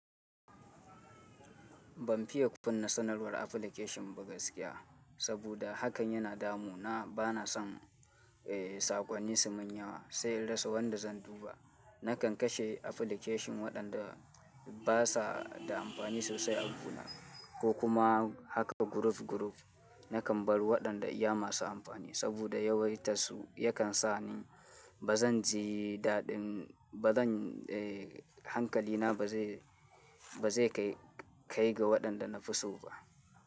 Ban fiye kunne sanarwar application ba gaskiya, saboda hakan yana damu na bana son, eh, saƙonnin sumanyawa sai in rasa wanda zan duba. Nakan kashe application waɗanda basa da amfani sosai a guna ko kuma haka group group. Nakan bar waɗanda iya masu amfani saboda yawaitarsu yakan sa ni bazan ji daɗin bazan, eh, hankalina ba zai, ba zai kai ga waɗanda na fi so ba.